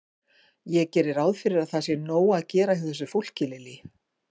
Ég geri ráð fyrir að það sé nóg að gera hjá þessu fólki, Lillý?